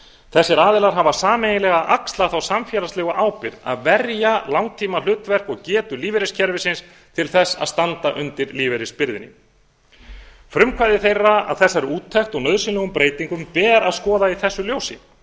þessir aðilar hafa sameiginlega axlað þá samfélagslegu ábyrgð að verja langtímahlutverk og getu lífeyriskerfisins til að standa undir lífeyrisbyrðinni frumkvæði þeirra að þessari úttekt og nauðsynlegum breytingum ber að skoða í þessu ljósi